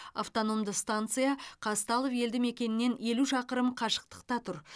автономды станция қазталов елді мекенінен елу шақырым қашықтықта тұр